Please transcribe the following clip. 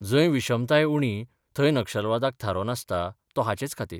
जंय विशमताय उणी थंय नक्षलवादाक थारो नासता तो हाचेच खातीर.